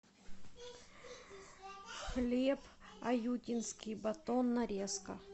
хлеб аютинский батон нарезка